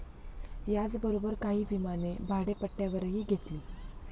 याचबरोबर काही विमाने भाडेपट्ट्यावरही घेतली.